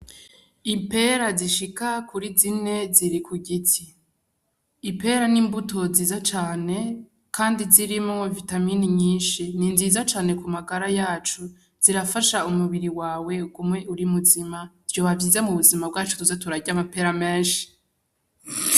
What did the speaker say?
Ipera zishika kuri zine ziri kugiti , ipera n'imbuto nziza cane kandi zirimwo vitamini nyinshi, ninziza cane kumagara yacu, zirafasha umubiri wawe ugume uri muzima, vyoba vyiza m'ubuzima bwacu tuze turarya amapera menshi.